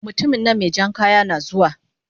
mutuminnan mejan kaya nazuwa